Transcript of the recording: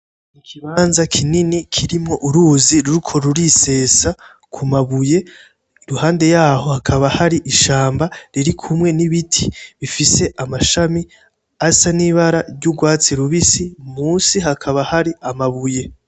Ikibanza kinini kirimwo uruzi ruriko rurisesa ku mabuye, iruhande yaho hakaba hari ishamba ririkumwe n'ibiti bifise amashami asa n'ibara ry'urwatsi rubisi, musi hakaba hari amabuye.